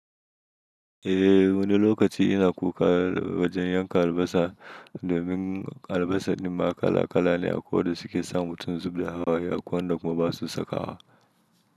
Eh, wani lokaci ina kuka wajen yanka albasa domin albasa din ma kala kala ne, akwai da suke sa mutum zub da hawaye akwai wanda kuma ba su saka wa.